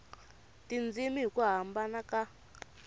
tindzimi hi ku hambana ka